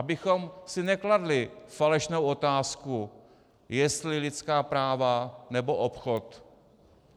Abychom si nekladli falešnou otázku, jestli lidská práva, nebo obchod.